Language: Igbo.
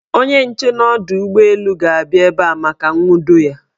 Onye nche n' ọdọụgbọelu ga-abịa ebe a maka nwudo ya.